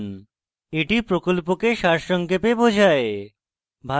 এটি প্রকল্পকে সারসংক্ষেপে বোঝায়